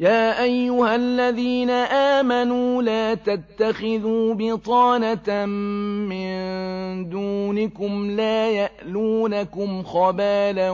يَا أَيُّهَا الَّذِينَ آمَنُوا لَا تَتَّخِذُوا بِطَانَةً مِّن دُونِكُمْ لَا يَأْلُونَكُمْ خَبَالًا